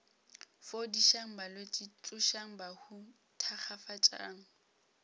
fodišang balwetši tsošang bahu thakgafatšang